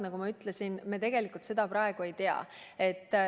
Nagu ma ütlesin, neid numbreid me tegelikult praegu ei tea.